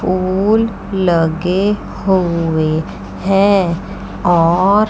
फूल लगे हुए हैं और--